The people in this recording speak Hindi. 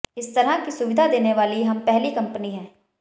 इस तरह की सुविधा देने वाली हम पहली कंपनी हैं